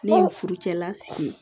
Ne ye furucɛla sigi ye